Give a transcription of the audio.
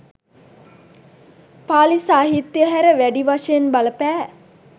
පාලි සාහිත්‍යය හැර, වැඩි වශයෙන් බලපෑ